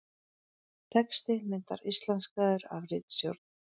Texti myndar íslenskaður af ritstjórn.